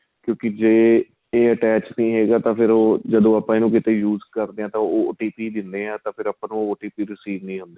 ਕਿਉਂਕਿ ਜ਼ੇ ਏ attach ਨਹੀਂ ਹੈਗਾ ਤਾਂ ਫ਼ੇਰ ਉਹ ਜਦੋਂ ਆਪਾਂ ਕਿਥੇ ਇਹਨੂੰ use ਕਰਦੇ ਹਾਂ ਤਾਂ ਉਹ O T Pi ਦਿੰਦੇ ਹਾਂ ਤੇ ਫ਼ੇਰ ਆਪਾਂ ਨੂੰ ਉਹ O T Pi receive ਨਹੀਂ ਹੁੰਦੇ